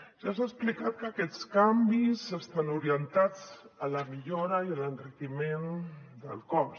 ja s’ha explicat que aquests canvis estan orientats a la millora i a l’enriquiment del cos